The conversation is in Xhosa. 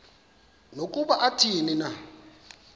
nokuba athini na